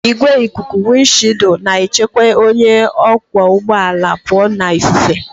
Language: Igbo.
Igwe ikuku wịndshịịụldụ na-echekwa onye ọkwọ ụgbọ ala pụọ na ifufe